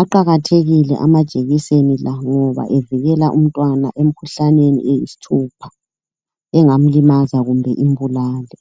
Aqakathekile ama jekiseni la ngoba evikela umntwana emikhuhlaneni eyisi thupha engamlimaza kumbe imbulale.